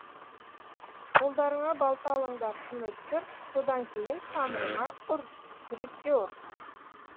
қолдарыңа балта алыңдар тым өткір содан кейін тамырыма ұр жүрекке ұр